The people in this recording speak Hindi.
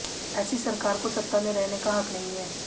ऐसी सरकार को सत्ता में रहने का हक नहीं है